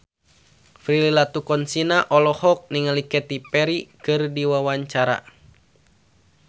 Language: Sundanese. Prilly Latuconsina olohok ningali Katy Perry keur diwawancara